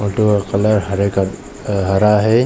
Auto का colour हरे अ हरा है।